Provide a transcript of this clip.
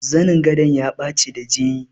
Zanin gadon ya ɓaci da jini.